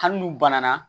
Hali n'u banana